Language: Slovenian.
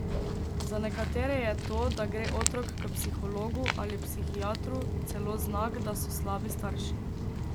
Za nekatere je to, da gre otrok k psihologu ali psihiatru, celo znak, da so slabi starši.